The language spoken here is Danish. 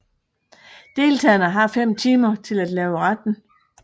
Deltagerne har fem timer til at lave retten